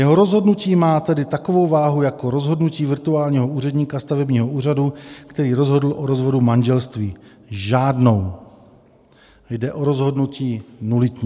Jeho rozhodnutí má tedy takovou váhu jako rozhodnutí virtuálního úředníka stavebního úřadu, který rozhodl o rozvodu manželství - žádnou, jde o rozhodnutí nulitní.